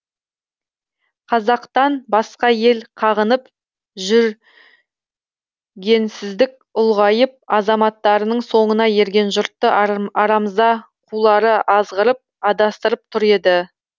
қазақтан басқа ел қағынып жү генсіздік ұлғайып азаматтарының соңына ерген жұртты арамза қулары азғырып адастырып тұр еді